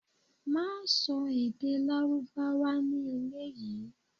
Má sọ èdè Lárúbáwá ní ilé yìí.